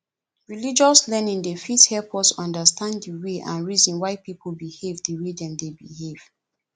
religious learning dey fit help us understand di way and reason why pipo behave di way dem dey behave